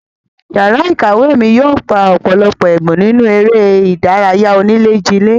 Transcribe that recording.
Yàrá ìkàwé mi yóò gbà ọ̀pọ̀lọpọ̀ ẹ̀bùn nínú eré ìdárayá onílè-jilè.